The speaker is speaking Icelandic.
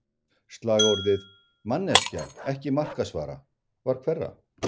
Slagorðið, “manneskja, ekki markaðsvara” var hverra?